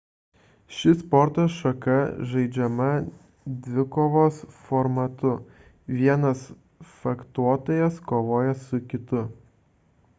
ši sporto šaka žaidžiama dvikovos formatu vienas fektuotojas kovoja su kitu